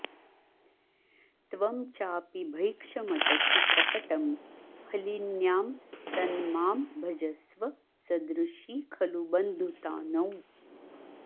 त्वं चापि भैक्षमटसि प्रकटं फलिन्यां तन्मां भजस्व सदृशी खलु बन्धुता नौ